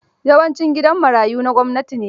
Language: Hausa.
Yawancin gidan marayu na gwamnati ne.